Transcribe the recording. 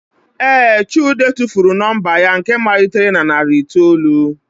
Ee, chude tụfuru nọmba ya nke malitere na narị itoolu.